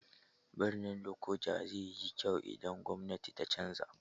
Birnin Lokoja zai yi kyau idan gwamnati ta canza.